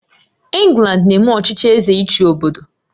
England na-eme ọchịchị Eze ịchị obodo